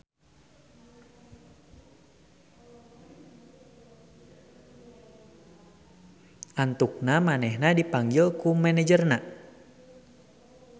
Antukna manehna dipanggil ku manajerna.